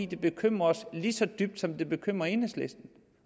det bekymrer os lige så dybt som det bekymrer enhedslisten